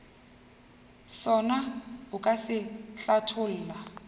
sona o ka se hlatholla